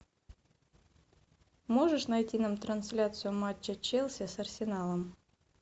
можешь найти нам трансляцию матча челси с арсеналом